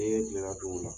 Ne gɛlɛya do o la